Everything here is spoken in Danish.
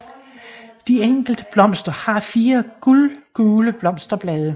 De enkelte blomster har fire guldgule blosterblade